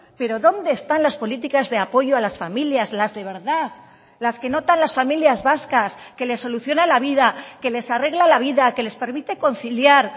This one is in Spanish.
pero dónde están las políticas de apoyo a las familias las de verdad las que notan las familias vascas que les soluciona la vida que les arregla la vida que les permite conciliar